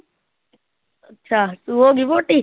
ਅੱਛਾ ਤੂੰ ਹੋ ਗਈ ਮੋਟੀ?